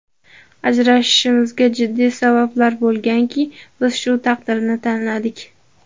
Ajrashishimizga jiddiy sabablar bo‘lganki, biz shu taqdirni tanladik.